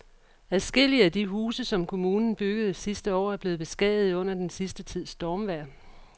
Adskillige af de huse, som kommunen byggede sidste år, er blevet beskadiget under den sidste tids stormvejr.